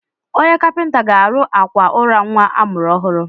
Onye kapịnta ga-arụ àkwà ụra nwa a mụrụ ọhụrụ.